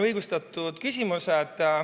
Õigustatud küsimused.